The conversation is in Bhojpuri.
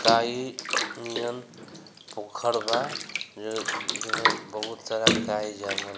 काई नियन पोखर बा जेमे बहुत सारा काई जमल।